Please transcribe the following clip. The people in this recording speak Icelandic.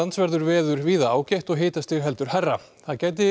verður veður víða ágætt og hitastig heldur hærra